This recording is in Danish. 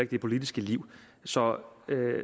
det politiske liv så